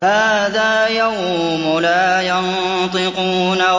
هَٰذَا يَوْمُ لَا يَنطِقُونَ